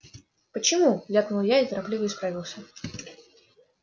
почему ляпнул я и торопливо исправился